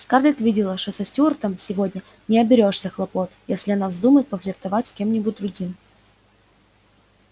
скарлетт видела что со стюартом сегодня не оберёшься хлопот если она вздумает пофлиртовать с кем-нибудь другим